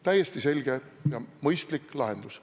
Täiesti selge ja mõistlik lahendus.